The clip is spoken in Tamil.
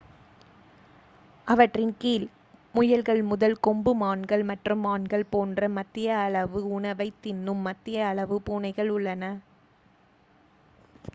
அவற்றின் கீழ் முயல்கள் முதல் கொம்பு மான்கள் மற்றும் மான்கள் போன்ற மத்திய அளவு உணவைத் தின்னும் மத்திய அளவு பூனைகள் உள்ளன